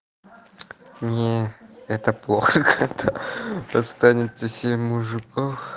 не это плохо когда останется семь мужиков